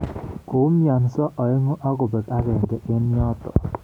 Koumionso aengu akobeek agenge eng yoto